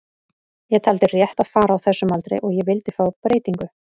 Ég taldi rétt að fara á þessum aldri og ég vildi fá breytingu.